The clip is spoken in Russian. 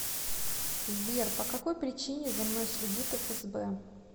сбер по какой причине за мной следит фсб